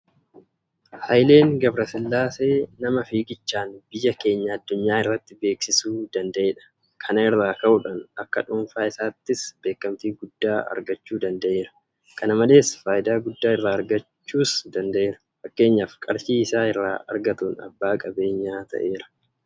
Hayileen gabrasillaasee nama fiigichaan biyya keenya addunyaa irratti beeksisuu danda'edha. Kana irraa ka'uudhaan akka dhuunfaa isaattis beekamtii guddaa argachuu danda'eera. Kana malees faayidaa guddaa irraa argachuus danda'eera. Fakkeenyaaf qarshii isa irraa argatuun abbaa qabeenyaa ta'eera.